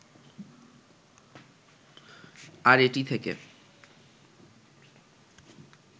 আর এটি থেকে